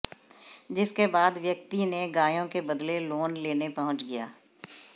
जिसके बाद व्यक्ति ने गायों के बदले लोन लेने पहुंच गया